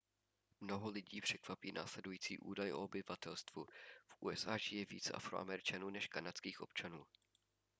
mnoho lidí překvapí následující údaj o obyvatelstvu v usa žije více afroameričanů než kanadských občanů